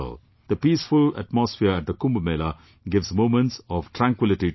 The peaceful atmosphere at the Kumbh Mela gives moments of tranquillity to the soul